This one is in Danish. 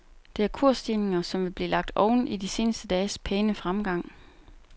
Det er kursstigninger, som vil blive lagt oven i de seneste dages pæne fremgang.